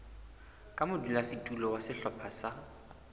ka modulasetulo wa sehlopha sa